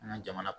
An ka jamana